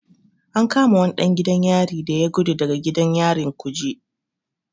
An kama wani ɗan gidan yari da ya gudu daga gidan yarin kuje.